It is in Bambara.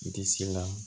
Disi la